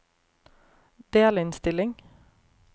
delinnstilling